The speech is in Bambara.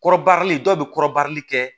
Kɔrɔbarili dɔw bɛ kɔrɔbarili kɛ